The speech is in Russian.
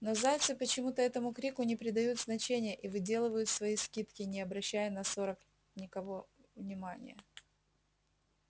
но зайцы почему-то этому крику не придают значения и выделывают свои скидки не обращая на сорок никого внимания